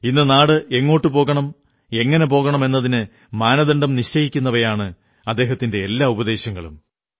ഇന്ന് നാട് എങ്ങോട്ടു പോകണം എങ്ങനെ പോകണം എന്നതിന് മാനദണ്ഡം നിശ്ചയിക്കുന്നവയാണ് അദ്ദേഹത്തിന്റെ എല്ലാ ഉപദേശങ്ങളും